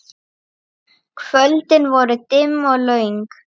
Kvöldin voru dimm og löng.